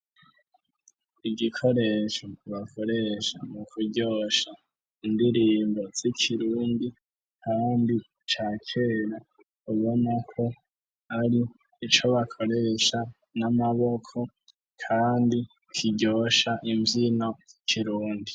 Igikoresho bakoresha mu kuryosha indirimbo z'ikirundi kandi ca kera, ubona ko ari ico bakoresha n'amaboko, kandi kiryosha imvyino z'ikirundi.